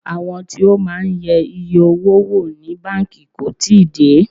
Àwọn tí ó máa ń yẹ iye owó wò ní báńkì kò tíì dé.